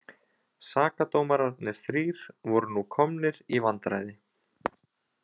Sakadómararnir þrír voru nú komnir í vandræði.